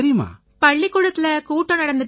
பள்ளிக்கூட த்தில கூட்டம் நடந்திட்டு இருந்திச்சு